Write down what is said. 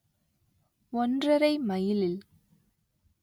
ஒன்றரை மைலில்